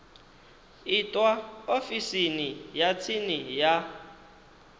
itwa ofisini ya tsini ya